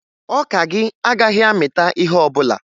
Ọka gị agaghị amịta ihe ọbụla